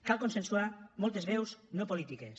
cal consensuar moltes veus no polítiques